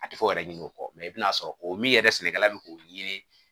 A tɛ fɔ o yɛrɛ ɲini o kɔ i bɛna sɔrɔ o min yɛrɛ sɛnɛkɛla bɛ k'o ɲini